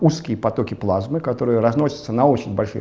узкие потоки плазмы которые разносятся на очень большие